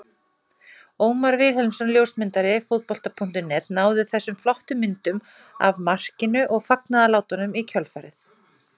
Ómar Vilhelmsson ljósmyndari Fótbolta.net náði þessum flottu myndum af markinu og fagnaðarlátunum í kjölfarið.